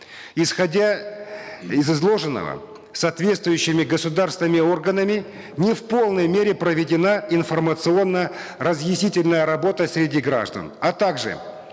исходя из изложенного соответствующими государственными органами не в полной мере проведена информационно разъяснительная работа среди граждан а также